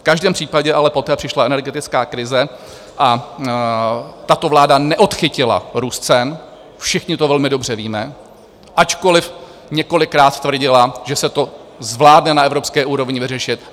V každém případě ale poté přišla energetická krize a tato vláda neodchytila růst cen - všichni to velmi dobře víme - ačkoliv několikrát tvrdila, že se to zvládne na evropské úrovni vyřešit.